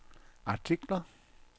artikler